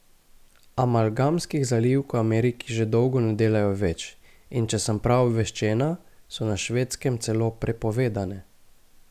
Amalgamskih zalivk v Ameriki že dolgo ne delajo več in če sem prav obveščena, so na Švedskem celo prepovedane.